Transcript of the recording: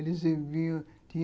Eles iam